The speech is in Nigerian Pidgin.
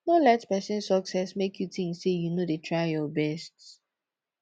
no let pesin success mek yu tink sey yu no dey try yur best